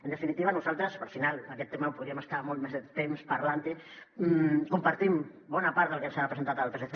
en definitiva nosaltres perquè al final d’aquest tema podríem estar molt més de temps parlant ne compartim bona part del que ens ha presentat el psc